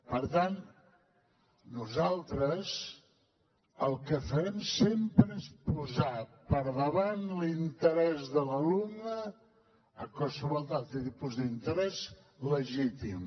per tant nosaltres el que farem sempre és posar per davant l’interès de l’alumne de qualsevol altre tipus d’interès legítim